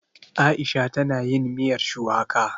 Aisha ta na yin miyar shuwaka